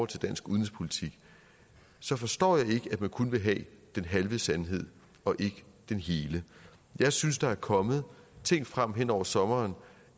til dansk udenrigspolitik så forstår jeg ikke at man kun vil have den halve sandhed og ikke den hele jeg synes der er kommet ting frem hen over sommeren